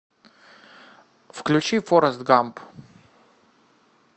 включи форест гамп